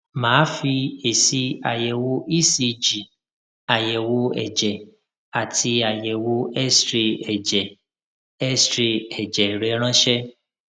mà á fi èsì àyẹwò ecg àyẹwò ẹjẹ àti àyẹwò xray ẹjẹ xray ẹjẹ rẹ ránṣẹ